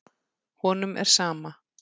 Honum er sama.